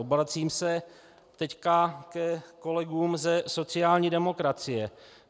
Obracím se teď ke kolegům ze sociální demokracie.